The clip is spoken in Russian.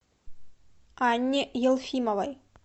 анне елфимовой